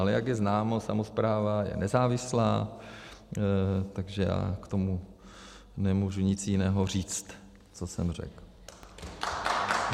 Ale jak je známo, samospráva je nezávislá, takže já k tomu nemůžu nic jiného říct, co jsem řekl.